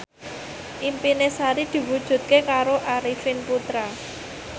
impine Sari diwujudke karo Arifin Putra